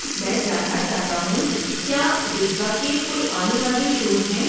میں جاننا چاہتا ہوں کیا بسوا کے کوئی آنے والے شوز ہیں؟